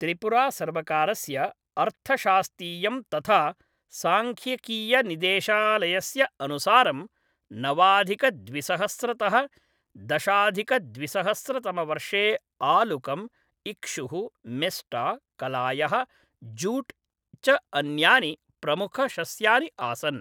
त्रिपुरासर्वकारस्य अर्थशास्तीयं तथा सांख्यिकीयनिदेशालयस्य अनुसारं नवाधिकद्विसहस्रतः दशाधिकद्विसहस्रतमवर्षे आलुकम्, इक्षुः, मेस्टा, कलायः, जूट् च अन्यानि प्रमुखशस्यानि आसन्।